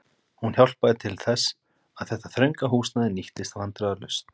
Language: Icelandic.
Hún hjálpaði til þess, að þetta þrönga húsnæði nýttist vandræðalaust.